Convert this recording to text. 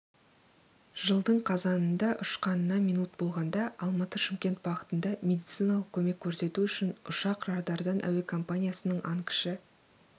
жылдың қазанында ұшқанына минут болғанда алматы-шымкент бағытында медициналық көмек көрсету үшін ұшқан радардан әуекомпаниясының ан кіші